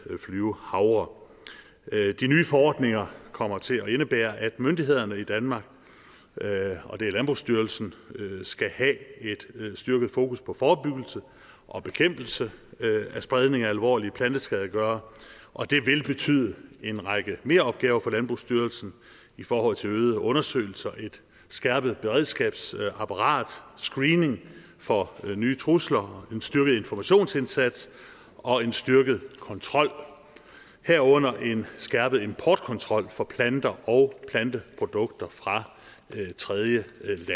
flyvehavre de nye forordninger kommer til at indebære at myndighederne i danmark og det er landbrugsstyrelsen skal have et styrket fokus på forebyggelse og bekæmpelse af spredning af alvorlige planteskadegørere og det vil betyde en række meropgaver for landbrugsstyrelsen i forhold til øgede undersøgelser et skærpet beredskabsapparat screening for nye trusler en styrket informationsindsats og en styrket kontrol herunder en skærpet importkontrol for planter og planteprodukter fra tredjelande